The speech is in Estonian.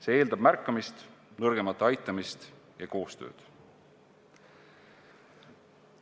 See eeldab märkamist, nõrgemate aitamist ja koostööd.